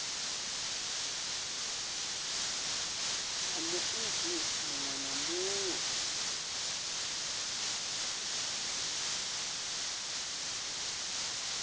ya muiti muṅwe na muṅwe